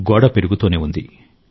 గోడ పెరుగుతూనే ఉంది